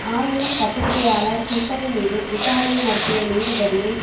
ஆயினும் பத்திரிகையாளர் ஹூசைன் மீது விசாரணை நடத்திய நீதிபதியை